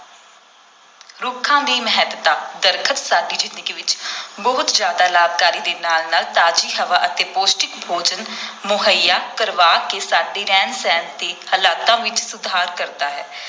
ਰੁੱਖਾਂ ਦੀ ਮਹੱਤਤਾ, ਦਰੱਖਤ ਸਾਡੀ ਜ਼ਿੰਦਗੀ ਵਿਚ ਬਹੁਤ ਜ਼ਿਆਦਾ ਲਾਭਕਾਰੀ ਦੇ ਨਾਲ ਨਾਲ ਤਾਜ਼ੀ ਹਵਾ ਅਤੇ ਪੌਸ਼ਟਿਕ ਭੋਜਨ ਮੁਹੱਈਆ ਕਰਵਾ ਕੇ ਸਾਡੇ ਰਹਿਣ-ਸਹਿਣ ਦੇ ਹਾਲਾਤਾਂ ਵਿਚ ਸੁਧਾਰ ਕਰਦਾ ਹੈ।